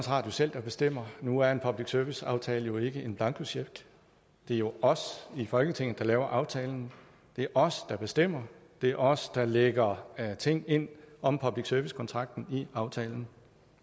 radio selv der bestemmer nu er en public service aftale jo ikke en blankocheck det er jo os i folketinget der laver aftalen det er os der bestemmer det er os der lægger ting ind om public service kontrakten i aftalen